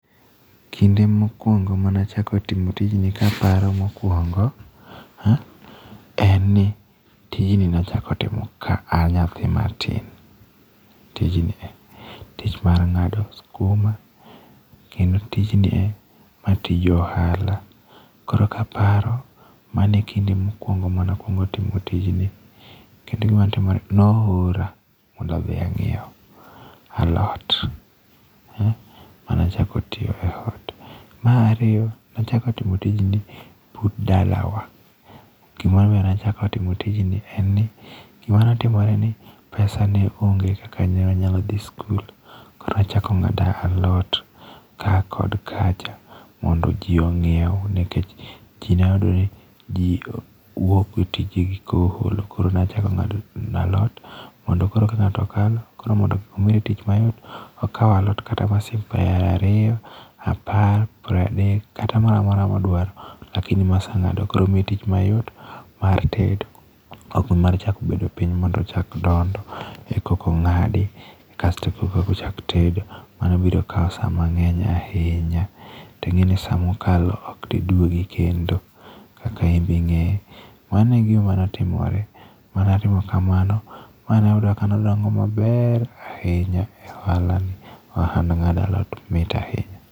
Kinde mokuongo mane achako timo tijni kaparo mokuongo, en ni tijni nachako timo ka a nyathi matin. Tijni e. Tich mar ng'ado skuma. Kendo tijnie , ma tij ohala. Koro kaparo mano e kinde mokuongo mane akuongo timo tijni. Kendo gimatimore, ne oora mondo adhi ang'iew alot, mane achako tiyo e ot. Mar ariyo nachako timo tijni but dalawa. Gima omiyo nachako timo tijni en ni, gima netimore ni pesa ne onge kaka newanyalo dhi sikul. Koro achako ng'ado alot, ka kod kacha mondo ji ong'iew nikech ji neyudo ni ji wuok e tijegi kool. Koro nachako ng'ado alot, mondo koro ka ng'ato kalo, koro mondo mi omire tich mayot, okao alot kata mar siling piero ariyo, apar, piero adek, kata moramora modwaro, lakini ma aseng'ado no. Koro miye tich mayot mar tedo ok mar chako bedo piny mondo ochak dondo e koka ong'adi kasto e koka ochak tedo. Mano biro kao sa mang'eny ahinya. To ing'eni ni sa mokalo okdi duogi kendo. Kaka inbe ing'eyo. Mano e gima notimore. Ma natimo kamano, mane oyudo ka ne olong' maber e ohala ni. Ohand ng'ado alot mit ahinya.